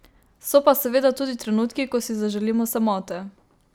So pa seveda tudi trenutki, ko si zaželimo samote ...